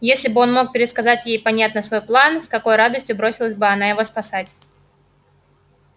если бы он мог пересказать ей понятно свой план с какой радостью бросилась бы она его спасать